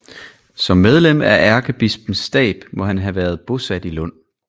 Som medlem af ærkebispens stab må han have været bosat i Lund